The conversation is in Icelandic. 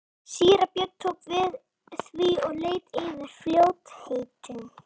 Síra Björn tók við því og leit yfir í fljótheitum.